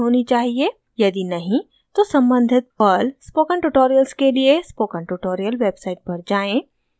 यदि नहीं तो सम्बंधित पर्ल स्पोकन ट्यूटोरियल्स के लिए स्पोकन ट्यूटोरियल वेबसाइट पर जाएँ